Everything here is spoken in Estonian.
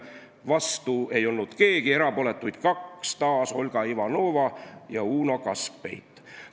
Vastu ei olnud keegi, erapooletuid oli kaks: taas Olga Ivanova ja Uno Kaskpeit.